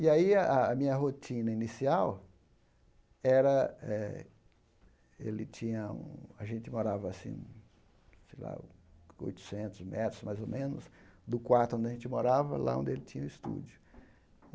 E aí a a minha rotina inicial era eh ele tinha um... A gente morava assim, sei lá, oitocentos metros, mais ou menos, do quarto onde a gente morava, lá onde ele tinha o estúdio.